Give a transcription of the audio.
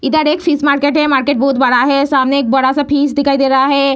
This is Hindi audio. इधर एक फिश मार्केट है मार्केट बहुत बड़ा है सामने एक बड़ा-सा फिश दिखाई दे रहा है।